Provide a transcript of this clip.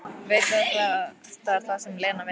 Veit að þetta er það sem Lena vill.